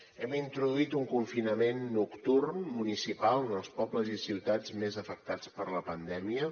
hem introduït un confinament nocturn municipal en els pobles i ciutats més afectats per la pandèmia